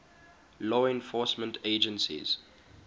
law enforcement agencies